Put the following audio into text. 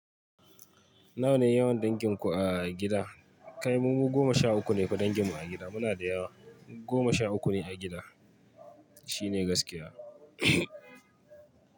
Nawa ne yawan dinkiinku a gida? Kai, mu goma sha uku ne ku danginmu a gida. Muna da yawa. Goma sha uku ne a gida. Shi ne gaskiya.